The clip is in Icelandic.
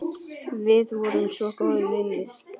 Við vorum svo góðir vinir.